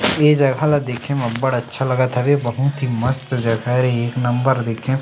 ए जगह ला देखे म बढ़ अच्छा लगत हवे बहुत ही मस्त जगह एक नंबर देखे --